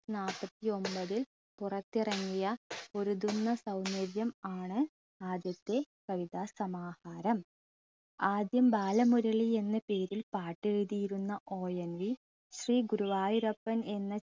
നാപ്പത്തിയൊമ്പതിൽ പുറത്തിറങ്ങിയ പൊരുതുന്ന സൗന്ദര്യം ആണ് ആദ്യത്തെ കവിതാ സമാഹാരം ആദ്യം ബാലമുരളി എന്ന പേരിൽ പാട്ടെഴുതിയിരുന്ന ONV ശ്രീ ഗുരുവായൂരപ്പൻ എന്ന